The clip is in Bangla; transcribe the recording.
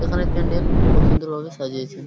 এখানে প্যান্ডেল খুব সুন্দর ভাবে সাজিয়েছে।